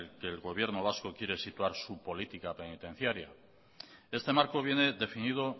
en el que el gobierno vasco quiere situar su política penitenciaria este marco viene definido